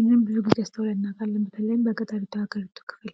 ይህን ብዙ ጊዜ አስተውለን እናውቃለን በተለይም በገጠሪቷ የሀገሪቷ ክፍል ::